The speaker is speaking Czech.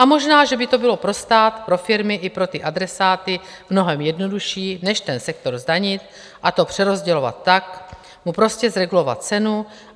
A možná, že by to bylo pro stát, pro firmy i pro ty adresáty mnohem jednodušší - než ten sektor zdanit a to přerozdělovat, tak mu prostě zregulovat cenu.